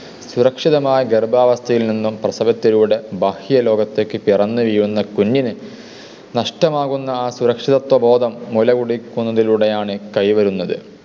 സുരക്ഷിതമായ ഗർഭാവസ്ഥയിൽ നിന്നും പ്രസവത്തിലൂടെ ബാഹ്യലോകത്തേക്ക് പിറന്നു വീഴുന്ന കുഞ്ഞിന് നഷ്ടമാകുന്ന ആ സുരക്ഷിതത്വ ബോധം മുലകുടിക്കുന്നതിലൂടെയാണ് കൈവരുന്നത്.